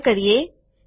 આ સંગ્રહ કરીએ